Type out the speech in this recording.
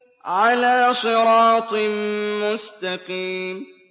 عَلَىٰ صِرَاطٍ مُّسْتَقِيمٍ